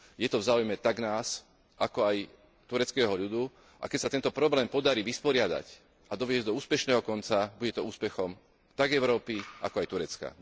Je to v záujme tak nás, ako aj tureckého ľudu, a keď sa tento problém podarí vysporiadať a doviesť do úspešného konca, bude to úspechom tak Európy, ako aj Turecka.